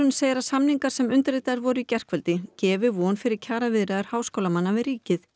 segir að samningarnir sem undirritaðir voru í gærkvöldi gefi von fyrir kjaraviðræður háskólamanna við ríkið